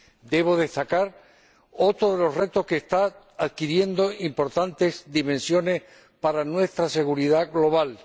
Debo destacar otro de los retos que está adquiriendo importantes dimensiones para nuestra seguridad global.